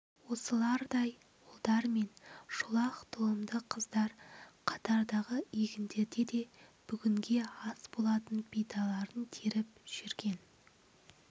осылардай үлдар мен шолақ тұлымды қыздар қатардағы егіндерде де бүгінге ас болатын бидайларын теріп жүрген